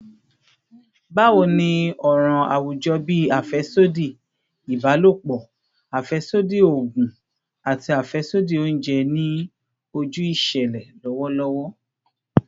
Bawo ni awọn ọran awujọ bii afẹsodi ibalopọ, afẹsodi oogun, ati afẹsodi ounjẹ ni oju iṣẹlẹ lọwọlọwọ?